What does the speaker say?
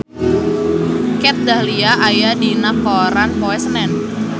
Kat Dahlia aya dina koran poe Senen